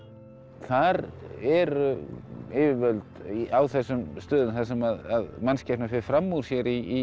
þar eru yfirvöld á þessum stöðum þar sem mannskepnan fer fram úr sér í